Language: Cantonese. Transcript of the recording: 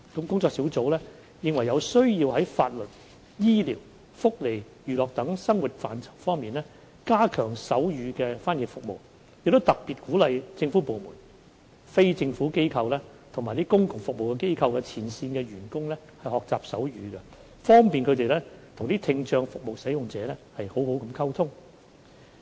工作小組認為有需要在法律、醫療、福利及娛樂等生活範疇加強手語翻譯服務，亦特別鼓勵政府部門、非政府機構和公共服務機構的前線員工學習手語，方便與聽障服務使用者好好溝通。